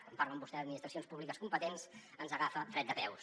quan parlen vostès d’administracions públiques competents ens agafa fred de peus